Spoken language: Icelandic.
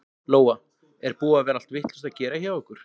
Lóa: Er búið að vera allt vitlaust að gera hjá ykkur?